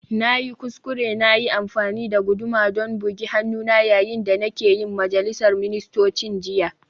Na yi kuskure na yi amfani da guduma don bugi hannuna yayin da nake yin majalisar ministocin jiya